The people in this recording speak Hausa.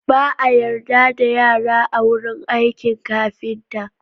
Ba a yarda da yara a wurin aikin kafinta.